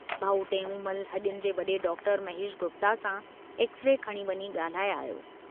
भाउ टेऊंमल हडियुनि जे वड़े डॉक्टर महेश गुप्ता सां एक्स-रे खणी वञी गाल्हाए आयो।